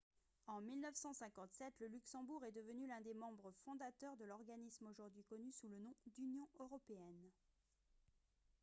en 1957 le luxembourg est devenu l'un des membres fondateurs de l'organisme aujourd'hui connu sous le nom d'union européenne